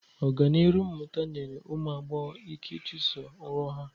Ọganihu mmụta nyere ụmụ agbọghọ ike ịchụso nrọ ha.